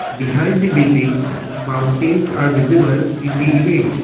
behind the building mountains are visible in the image.